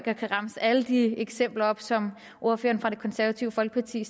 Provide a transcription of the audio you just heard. jeg kan remse alle de eksempler op som ordføreren for det konservative folkeparti